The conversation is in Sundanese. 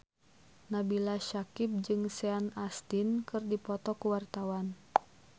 Nabila Syakieb jeung Sean Astin keur dipoto ku wartawan